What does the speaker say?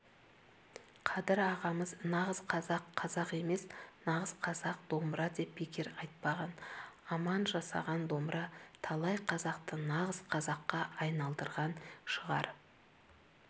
қадыр ағамыз нағыз қазақ қазақ емес нағыз қазақ домбыра деп бекер айтпаған аман жасаған домбыра талай қазақты нағыз қазаққа айналдырған шығар